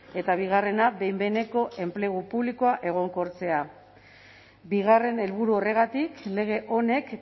eta bigarrena behin behineko enplegu publikoa egonkortzea bigarren helburu horregatik lege honek